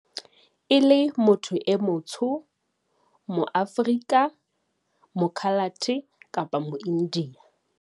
e le motho e motsho, moAforika, moKhalate kapa moIndiya.